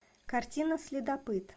картина следопыт